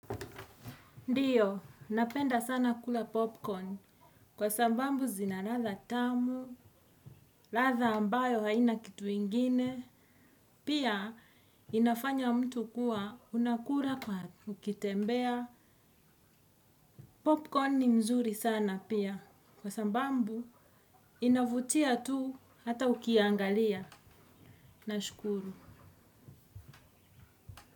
Ndiyo, napenda sana kula popcorn, kwa sabambu zina radha tamu, radha ambayo haina kitu ingine, pia inafanya mtu kuwa unakura kwa ukitembea. Popcorn ni mzuri sana pia, kwa sambambu inavutia tu hata ukiangalia. Nashukuru.